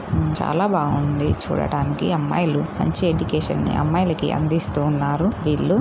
చాలా బాగుంది చూడడానికి. అమ్మాయిలు మంచి ఎడ్యుకేషన్ ని అమ్మాయిలకి అందిస్తూ ఉన్నారు వీళ్లు.